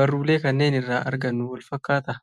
barruulee kana irraa argannu wal fakkaataa?